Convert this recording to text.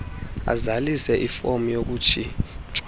azalise ifom yokutshintshwa